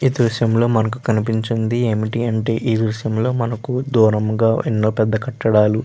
ఈ దృశ్యం లో మనకి కనిపించింది ఏమిటి అంటే ఈ దృశ్యం లో మనకు దూరంగ వున్న పెద్ద కట్టడాలు --